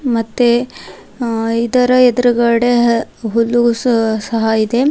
ಮತ್ತೆ ಅ ಇದರ ಎದ್ರುಗಡೆ ಹುಲ್ಲು ಸಹ ಇದೆ.